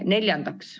Neljandaks.